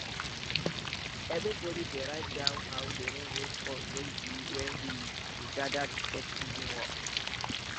everybody dey write down how de rain wey fall take be when we we gather to check season work